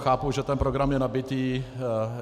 Chápu, že ten program je nabitý.